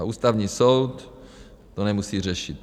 A Ústavní soud to nemusí řešit.